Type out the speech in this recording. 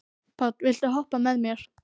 Páll, viltu hoppa með mér?